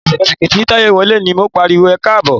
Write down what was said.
Ẹ̀sẹ̀kẹsẹ̀ tí Táyọ̀ wọlé ni mo pariwo "ẹkáàbọ̀".